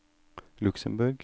Luxemborg